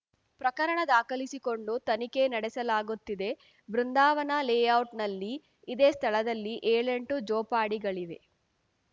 ಪ್ರಕರಣ ದಾಖಲಿಸಿಕೊಂಡು ತನಿಖೆ ನಡೆಸಲಾಗುತ್ತಿದೆ ಬೃಂದಾವನ ಲೇಔಟ್‌ನಲ್ಲಿ ಇದೇ ಸ್ಥಳದಲ್ಲಿ ಏಳೆಂಟು ಜೋಪಾಡಿಗಳಿವೆ